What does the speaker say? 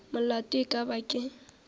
molato e ka ba ke